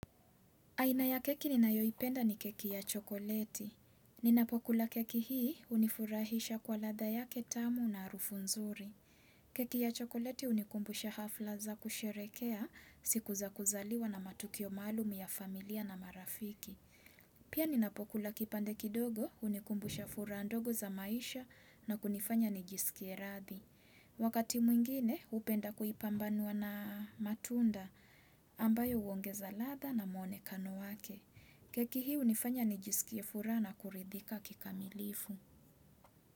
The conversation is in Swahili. Aina ya keki ninayoipenda ni keki ya chokoleti. Ninapokula keki hii hunifurahisha kwa ladha yake tamu na harufu nzuri. Keki ya chokoleti hunikumbusha hafla za kusherekea siku za kuzaliwa na matukio maalum ya familia na marafiki. Pia ninapokula kipande kidogo hunikumbusha furaha ndogo za maisha na kunifanya nijisikie rathi. Wakati mwingine hupenda kuipambanua na matunda ambayo huongeza ladha na mwonekano wake. Keki hii hunifanya nijisikie furaha na kuridhika kikamilifu.